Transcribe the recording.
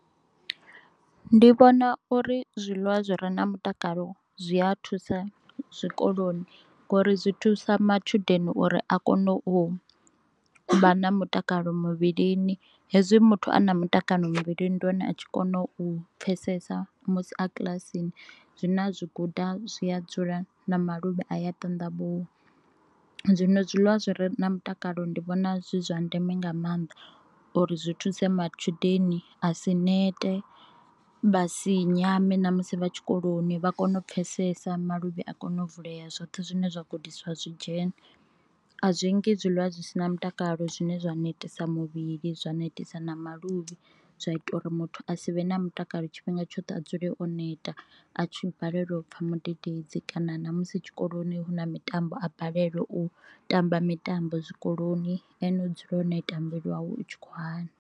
Ndi vhona uri zwiḽiwa zwi re na mutakalo zwi a thusa zwikoloni ngori zwi thusa matshudeni uri a kone u vha na mutakalo muvhilini, hezwi muthu ana mutakalo muvhilini ndi hone a tshi kona u pfesesa musi a kilasini zwine a zwi guda zwi a dzula na maluvhi a ya ṱaṋdavhuwa, zwino zwiḽiwa zwi re na mutakalo ndi vhona zwi zwa ndeme nga mannḓa uri zwi thuse matshudeni a si nete, vhasi nyame na musi vha tshikoloni vha kone u pfesesa maluvhi a kone u vulea zwoṱhe zwine zwa gudiswa zwi dzhene. A zwi ngi zwiliwa zwi si na mutakalo zwine zwa netisa muvhili zwa netisa na maluvhi zwa ita uri muthu a si vhe na mutakalo tshifhinga tshoṱhe a dzule o neta a tshi balelwa u pfha mudededzi kana ṋa musi tshikoloni hu na mitambo a balelwa u tamba mitambo zwikoloni ene u dzula o neta muvhili wawe u tshi khou vhavha.